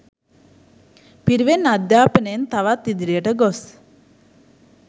පිරිවෙන් අධ්‍යාපනයෙන් තවත් ඉදිරියට ගොස්